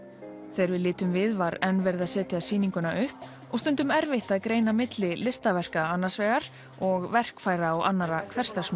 þegar við litum við var enn verið að setja sýninguna upp og stundum erfitt að greina á milli listaverka annars vegar og verkfæra og annarra